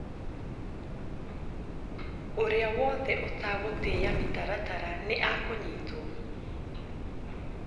Ũrĩa wothe utagũtia mĩtaratara nĩakunyitwo